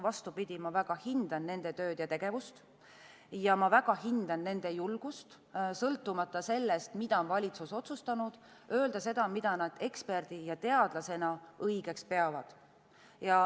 Vastupidi, ma väga hindan nende tööd ja tegevust ning ma väga hindan nende julgust sõltumata sellest, mida valitsus on otsustanud, öelda seda, mida nad eksperdi ja teadlasena õigeks peavad.